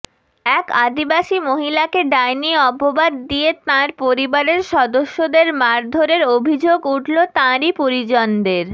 এক আদিবাসী মহিলাকে ডাইনি অপবাদ দিয়ে তাঁর পরিবারের সদস্যদের মারধরের অভিযোগ উঠল তাঁরই পরিজনদের